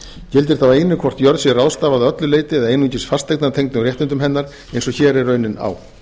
gildir þá einu hvort jörð sé ráðstafað að öllu leyti eða einungis fasteignatengdum réttindum hennar eins og hér er raunin á